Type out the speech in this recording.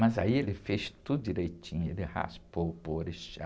Mas aí ele fez tudo direitinho, ele raspou para o orixá,